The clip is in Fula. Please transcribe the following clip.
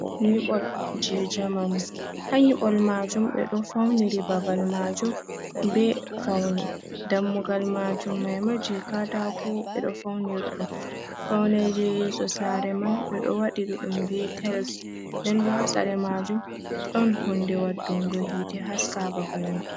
Nyibol je jamanu, ha nyibol majum be do fauniri babal majum be faune, dammugal majum maima je katako be do fauniridum faune, yeso sare man be do wadi duddum be tiles den bo hasare majum don hunde wadungo hite haska babal mai.